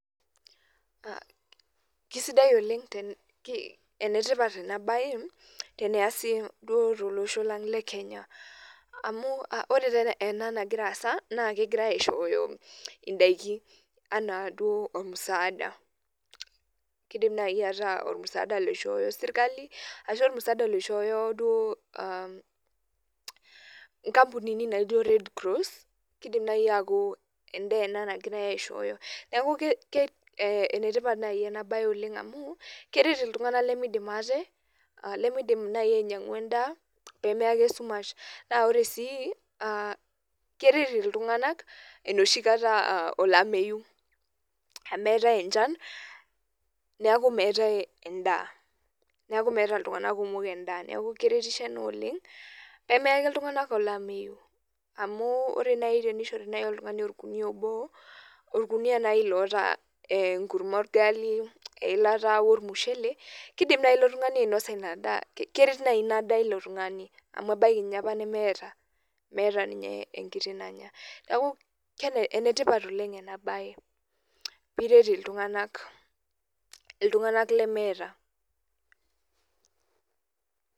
Kesidai oleng enetipat enabae tolosho lang le kenya amu ore ena nagira aasa na kegirai aishooyo indakiin ana duo musaada kidim nai ataa kishooyo serkali ashu musaada naishooyo duo nkampunini naijo red cross kidim nai aaku endaa ena nagirai aishooyo neaku enetipat nai enasiai amu keret ltunganak lemeidim nai ainyangh endaa pemeya ake esumasha na ore sii keret ltunganak enoshi kata aa olameyuameetae echan neaku meeta ltunganak kumok endaa neaku keretisho oleng neaku amu orenai tenishori oltungani obo orkunia obo orkunia nai oota enkurma orgali, eilata ormushele kidim naj olotungani ainosa inadaa amuebaki duo nemeeta ninye enkiti nanya neaku enetipat oleng enabae piret ltunganak ltunganak lemeeta.